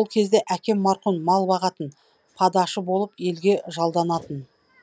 ол кезде әкем марқұм мал бағатын падашы болып елге жалданатын